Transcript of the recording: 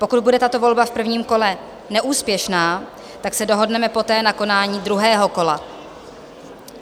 Pokud bude tato volba v prvním kole neúspěšná, tak se dohodneme poté na konání druhého kola.